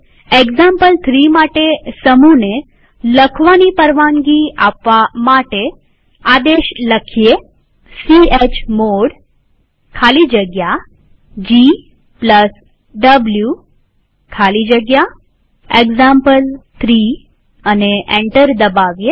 example three માટે સમૂહને write પરવાનગી આપવા આદેશ ચમોડ ખાલી જગ્યા gw ખાલી જગ્યા એક્ઝામ્પલ3 લખી એન્ટર દબાવીએ